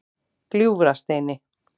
Gljúfrasteini